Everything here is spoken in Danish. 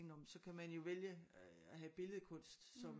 Nå men så kan man jo vælge at have billedkunst som